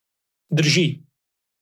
Drži.